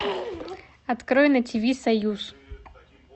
открой на ти ви союз